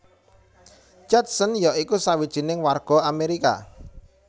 Judson ya iku sawijining warga Amerika